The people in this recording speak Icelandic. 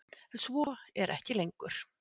Svo er ekki lengur.